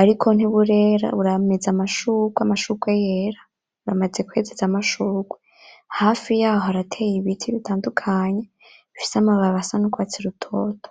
ariko ntiburera burameze amashurwe, amashurwe yera; buramaze kwezeza amashurwe. Hafi yaho harateye ibiti bitandukanye bifise amababi asa n’urwatsi rutoto.